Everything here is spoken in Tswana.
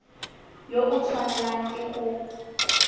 yo o tshwanelang ke go